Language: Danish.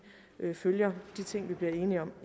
følger de ting vil bliver enige om